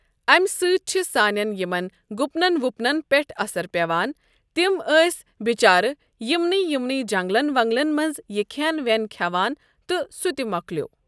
امہ سۭتۍ چھُ سانٮ۪ن یِمَن گُپنَن وُپنَن پٮ۪ٹھ اَثر پٮ۪وان تِم أسۍ بِچارٕ یِمنٕے یِمنٕے جنٛگلَن ونٛگلَن منٛز یہِ کھٮ۪ن وٮ۪ن کھٮ۪وان تہٕ سہ تہِ مۄکلیٛوو۔